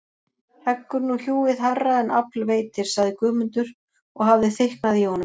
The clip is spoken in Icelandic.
Heggur nú hjúið hærra en afl veitir, sagði Guðmundur og hafði þykknað í honum.